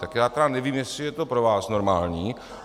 Tak já tedy nevím, jestli je to pro vás normální.